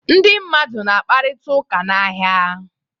Ndị mmadụ na-akparịta ụka n'ahịa.